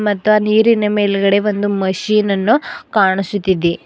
ಮತ್ ಆ ನೀರಿನ ಮೇಲ್ಗಡೆ ಒಂದು ಮಷಿನ್ ಅನ್ನು ಕಾಣಿಸುತ್ತಿದೆ.